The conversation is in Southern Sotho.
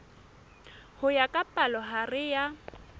ho ya ka palohare ya